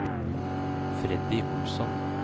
Freddy Olsson